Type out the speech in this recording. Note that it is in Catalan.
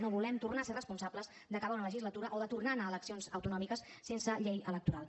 no volem tornar a ser responsables d’acabar una legislatura o de tornar a anar a eleccions autonòmiques sense llei electoral